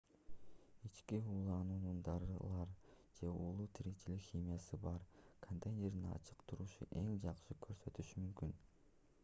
ички ууланууну дарылар же уулуу тиричилик химиясы бар контейнердин ачык турушу эң жакшы көрсөтүшү мүмкүн